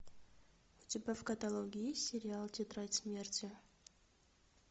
у тебя в каталоге есть сериал тетрадь смерти